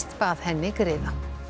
bað henni griða